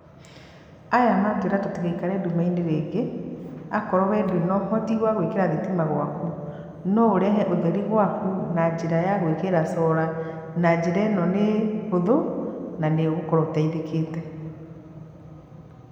Aya matwĩra tũtigaikare nduma inĩ rĩngĩ, akorwo we ndũrĩ na ũhoti wa gwĩkĩra thitima gwaku no ũrehe ũtheri gwaku na njĩra ya gwĩkĩra solar na njĩra ĩno nĩ hũthũ na nĩ ũgũkorwo ũteithĩkĩte.